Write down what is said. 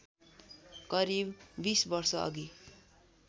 करिव १० वर्षअघि